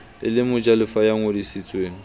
e le mojalefa ya ngodisitsweng